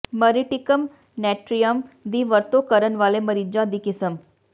ਮਰੀਟਿਕਮ ਨੈਟਰੀਅਮ ਦੀ ਵਰਤੋਂ ਕਰਨ ਵਾਲੇ ਮਰੀਜ਼ਾਂ ਦੀ ਕਿਸਮ